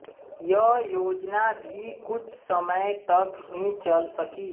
यह योजना भी कुछ समय तक ही चल सकी